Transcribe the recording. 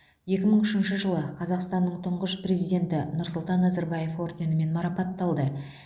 екі мың үшінші жылы қазақстанның тұңғыш президенті нұрсұлтан назарбаев орденімен марапатталды